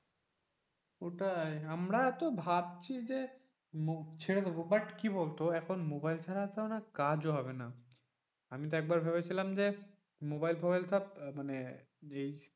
ওটাই আমরা তো ভাবছি যে ছেড়ে দেবো but কি বলতো এখন মোবাইল ছাড়া তো কাজ ও হবে না আমি তো একবার ভেবেছিলাম যে মোবাইল ফুবাইল সব মানে,